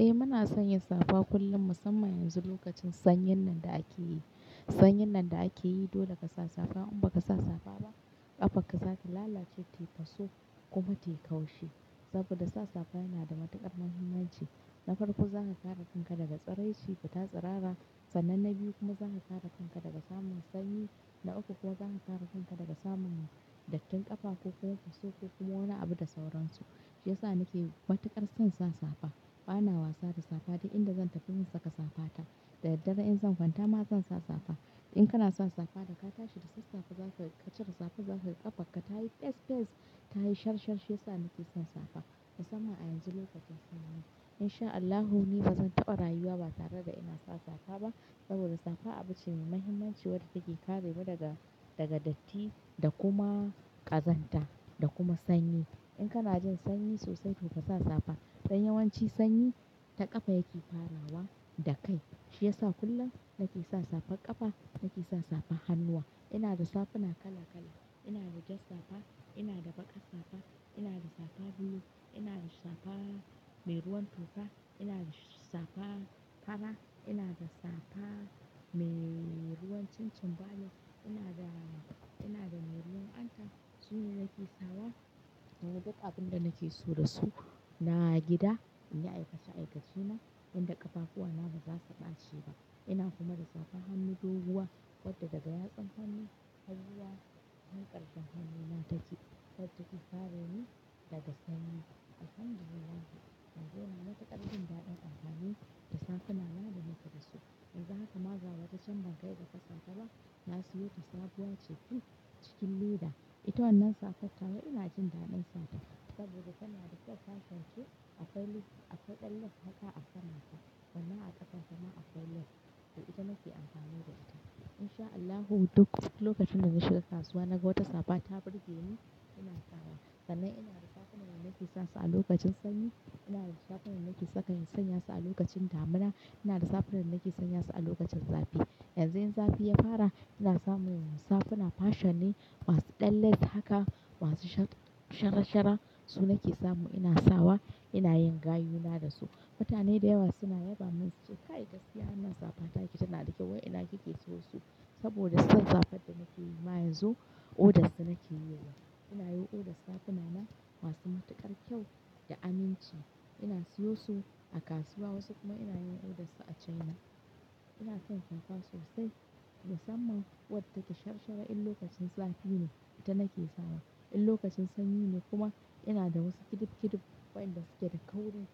Eh muna sanya safa kullum musamman yanzu lokacin sanyin nan da ake yi. Sanyin nan da ake yi dole ka sa safa in ba ka sa safa ba ƙafarka za ki lalace ta yi fasau kuma ta yi kaushi. Saboda sa safa yana da matuƙar muhimmanci. Na farko za ka kare kanka daga tsiranci fita tatsirara. Sanan na biyu kuma za ka kare kanka daga samun sanyi. Na uku kuma za ka kare kanka daga samun dattin ƙafa ko kuma fasau ko kuma wani abu da sauransu. Shi yasa nake matuƙar son sa safa. Bana wasa da safa duk inda zan tafi zan saka safa ta. Da daddare in zan kwanta ma zan sa safa. In kana son safa da ka tashi da sassafe za ka cire safa za ka ga ƙafarka ta yi fes fes ta yi shar shar shi yasa nake son safa. Musamman a yanzu lokacin sanyi. In sha Allahu ni ba zan taɓa rayuwa ba tare da ina sa safa ba saboda safa abu ce mai muhimmanci wadda take kare mu daga, daga datti da kuma ƙazanta da kuma sanyi. In kana jin sanyi sosai to ka sa safa. Don yawanci sanyi ta ƙafa yake farawa da kai. Shi yasa kullum nake sa safar ƙafa nake sa safar hannuwa. Ina da safuna kala kala. Ina da jar safa, ina da baƙar safa, ina da safa blue, ina da safa mai ruwan toka, ina da safa fara, ina da safa mai ruwan chin chin bane, ina da, ina da mai ruwan anta. Su ne nake sawa inyi duk abun da nake so da su. Na gida in yi aikace aikace na inda ƙafakuwa na ba za su ɓace ba. Ina kuma da safa hannu doguwa wadda daga yatsan hannu hanyar hankalcen hannuna take don tafi kare ni daga sanyi. Alhamdulillah yanzu ina mataƙar jin daɗin amfani da safuna na da nake da su. Yanzu haka ma ga wata can ban kai ga fasata ba na siyo ta sabuwa ce fil cikin lida. Ita wannan safar tawa ina jin daɗin sata saboda tana da kyak fanfanke aka yi lek aka ɗelle haka a kanata sannan a ƙafan kuma aka lek. Da ita nake amfani da ita. In sha Allahu duk lokacin da na shiga kasuwa naga wata safa ta burge ni ina sawa. Sannan ina da safuna da nake sasu a lokacin sanyi, ina da safunan nake saka sanya su a lokacin damina, ina da safunan nake sanya su a lokacin zafi. Yanzu in zafi ya fara ina samun safuna fashion ne masu ɗelles haka masu sharashara su nake samu ina sawa ina yin gayuna da su. Mutane da yawa suna yaba min suce "Kai, gaskiya wannan safa taki tana da kyau wai ina kike siyo su?" Saboda son safar da nake yi ma yanzu order su nake yowa. Ina yi order safuna na masu matuƙar kyau da aminci. Ina siyo su a kasuwa wasu kuma ina yin order su a China. Ina son safa sosai musamman wadda take sharashara in lokacin zafi ne ita nake sawa. In lokacin sanyi ne kuma ina da wasu kidid kidid wayanda suke da kauri